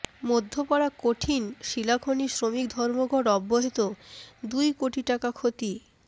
মধ্যপাড়া কঠিন শিলাখনি শ্রমিক ধর্মঘট অব্যাহত দুই কোটি টাকা ক্ষতি